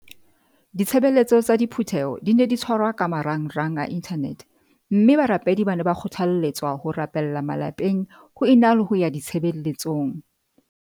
Ditshebeletso tsa diphu theho di ne di tshwarwa ka marangrang a inthanete mme barapedi ba ne ba kgothale tswa ho rapella malapeng ho e na le ho ya ditshebeletsong.